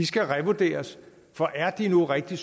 skal revurderes for er de nu rigtig